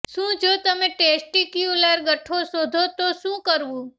શું જો તમે ટેસ્ટિક્યુલર ગઠ્ઠો શોધો તો શું કરવું